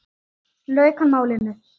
lauk hann málinu.